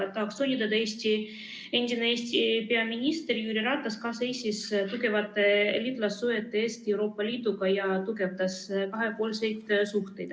Tõesti, endine peaminister Jüri Ratas seisis ka tugevate liitlassuhete eest Euroopa Liiduga ja tugevdas kahepoolseid suhteid.